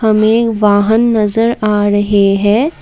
हमें वाहन नजर आ रहे है।